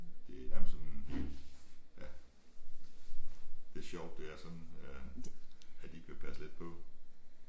Det er nærmest sådan helt ja. Det sjovt det er sådan øh at de ikke vil passe lidt på